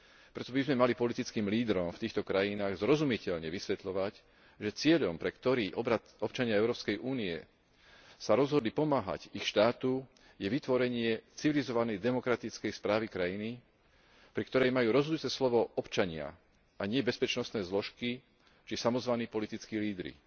Preto by sme mali politickým lídrom v týchto krajinách zrozumiteľne vysvetľovať, že cieľom, pre ktorý sa občania Európskej únie rozhodli pomáhať ich štátu, je vytvorenie civilizovanej demokratickej správy krajiny, pri ktorej majú rozhodujúce slovo občania, a nie bezpečnostné zložky, či samozvaní politickí lídri.